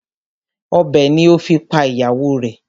Ọ̀bẹ ni o fi pa ìyàwó rẹ̀.